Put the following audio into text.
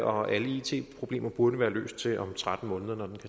og alle it problemer burde være løst til om tretten måneder når